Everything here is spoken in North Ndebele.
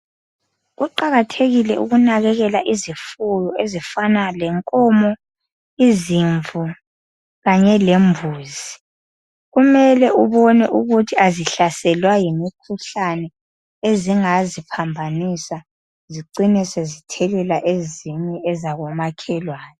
Kuqakathekile ukunakekela izifuyo ezifana lenkomo, izimvu kanye lembuzi. Kumele ubone ukuthi azihlaselwa yimikhuhlane ezingaziphambanisa zicine sezithelela ezinye ezabomakhelwane.